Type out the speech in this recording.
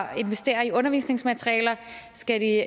at investere i undervisningsmaterialer skal de